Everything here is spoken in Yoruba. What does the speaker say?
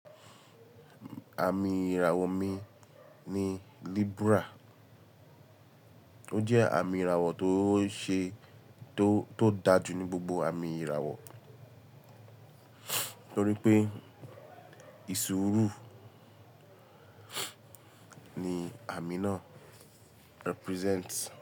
Àmì ìràwọ̀ mi ni Libra. Ó jẹ́ àmì ìràwọ̀ tó ṣe tó, tó dáa jù ní gbogbo àmì ìràwọ̀ torí pé ìṣòòru ni àmì náà represent.